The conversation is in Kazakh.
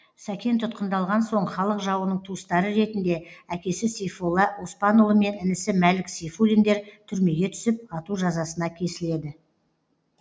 сәкен тұтқындалған соң халық жауының туыстары ретінде әкесі сейфолла оспанұлы мен інісі мәлік сейфуллиндер түрмеге түсіп ату жазасына кесіледі